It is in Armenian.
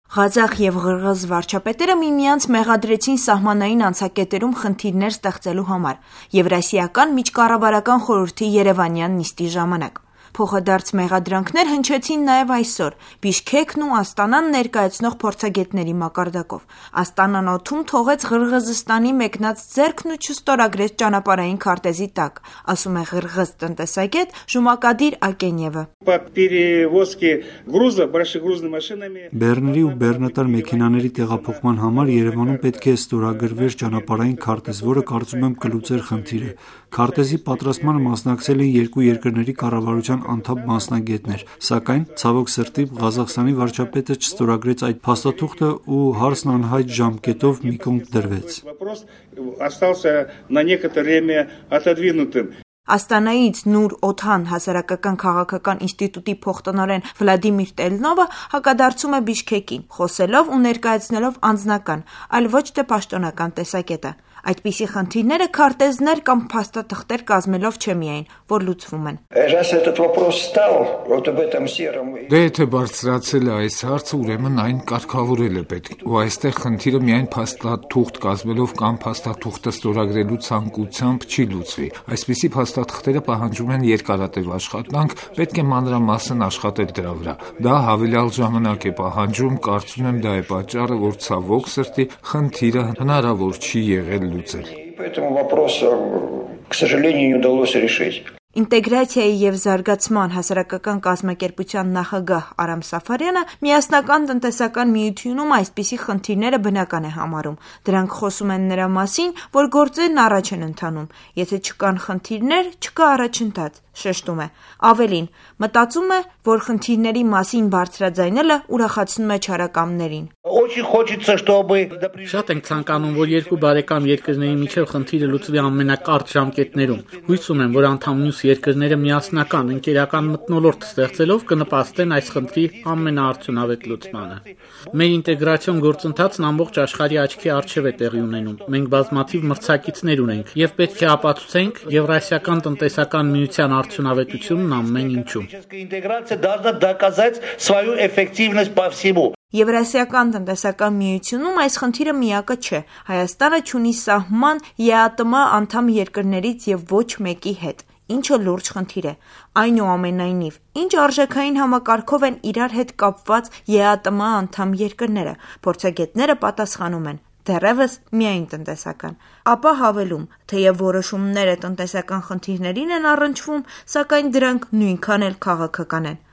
Ղազախ և ղըրղըզ վարչապետերը միմյանց մեղադրեցին սահմանային անցակետերում խնդիրներ ստեղծելու համար՝ Եվրասիական միջկառավարական խորհրդի երևանյան նիստի ժամանակ: Փոխադարձ մեղադրանքներ հնչեցին նաեւ այսօր Բիշքեքն ու Աստանան ներկայացնող փորձագետների մակարդակով։ Աստանան օդում թողեց Ղըրղըզստանի մեկնած ձեռքն ու չստորագրեց ճանապարհային քարտեզի տակ, ասում է ղըրղըզ տնտեսագետ Ժումակադիր Ակենեևը: Բեռների ու բեռնատար մեքենաների տեղափոխման համար Երևանում պետք է ստորագրվեր ճանապարհային քարտեզ, որը, կարծում եմ, կլուծեր խնդիրը: Քարտեզի պատրաստմանը մասնակցել էին երկու երկրների կառավարության անդամ-մասնագետներ, սակայն, ցավոք սրտի, Ղազախստանի վարչապետչը չստորագրեց այդ փաստաթուղթն ու հարցն անհայտ ժամանակով մի կողմ դրվեց: Աստանայից «Նուր Օթան» հասարակական քաղաքական ինստիտուտի փոխտնօրեն Վլադիմիր Տելնովը հակադարձում է Բիշքեկին՝ խոսելով ու ներկայացնելով անձնական, այլ ոչ թե պաշտոնական տեսակետը։ Այդպիսի խնդիրները քարտեզներ կամ փաստաթղթեր կազմելով չէ միայն, որ լծվում են: Դե եթե բարձրացել է այս հարցը, ուրեմն այն կարգավորել է պետք: Ու այստեղ խնդիրը միայն փաստաթուղթ կազմելով կամ փաստաթուղթը ստորագրելու ցանկությամբ չի լուծվի, այսպիսի փաստաթղթերը պահանջում են երկարատև աշխատանք, պետք է մանրամասն աշխատել դրա վրա: Դա հավելյալ ժամանակ է պահանջում, կարծում եմ դա է պատճառը, որ, ցավոք սրտի, խնդիրը հնարավոր չի եղել լուծել: «Ինտեգրացիա և զարգացում» ՀԿ նախագահ Արամ Սաֆարյանը միասնական տնտեսական միությունում այսպիսի խնդիրները բնական է համարում։, Դրանք խոսում են նրա մասին, որ գործերն առաջ են ընթանում: Եթե չկան խնդիրներ, չկա առաջընթաց՝ շեշտում է։ Ավելին՝ մտածում է, որ խնդիրների մասին բարձրաձայնելը ուրախացնում է չարակամներին: Շատ ենք ցանկանում, որ երկու բարեկամ երկրների միջև խնդիրը լուծվի ամենակարճ ժամկետներում: Հույս ունեմ, որ անդամ մյուս երկրները միասնական, ընկերական մթնոլորտ ստեղծելով կնպաստեն այս խնդրի ամենաարդյունավետ լուծմանը: Մեր ինտեգրացիոն գործընթացն ամբողջ աշխարհի աչքի առջև է տեղի ունենում: Մենք բազմաթիվ մրցակիցներ ունենք, և պետք է ապացուցենք ԵԱՏՄ-ի արդյունավետությունն ամեն ինչում: ԵԱՏՄ-ում այս խնդիրը միակը չէ: Հայաստանը չունի սահման ԵԱՏՄ անդամ երկրներից և ոչ մեկի հետ, ինչը լուրջ խնդիր է: Այնուամենայնիվ, ինչ արժեքային համակարգով են իրար հետ կապված ԵԱՏՄ անդամ երկրները, փորձագետները պատասխանում են՝ դեռևս միայն տնտեսական: Ապա հավելում՝ թեեւ որոշումները տնտեսական խնդիրներին են առնչվում, սակայն դրանք նույնքան էլ քաղաքական են։